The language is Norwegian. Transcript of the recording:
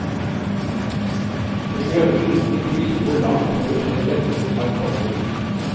Den grønne linjen viser hvor langt våre tre venner har kommet.